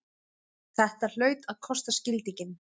Þetta hlaut að kosta skildinginn!